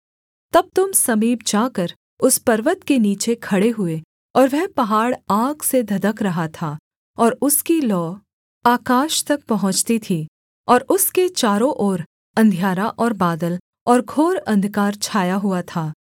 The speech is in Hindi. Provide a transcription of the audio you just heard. तब तुम समीप जाकर उस पर्वत के नीचे खड़े हुए और वह पहाड़ आग से धधक रहा था और उसकी लौ आकाश तक पहुँचती थी और उसके चारों ओर अंधियारा और बादल और घोर अंधकार छाया हुआ था